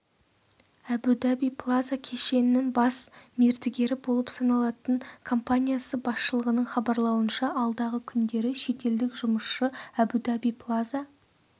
әбу-даби плаза кешенінің бас мердігері болып саналатын компаниясы басшылығының хабарлауынша алдағы күндері шетелдік жұмысшы әбу-даби плаза